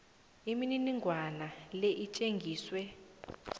imininingwana le itjengiswe